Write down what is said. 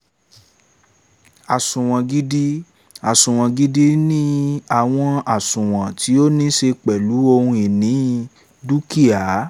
àsunwon gidi: àsunwon gidi ni àwọn àsunwon tí ó ní ṣe pẹ̀lú ohun ìní / dúkìá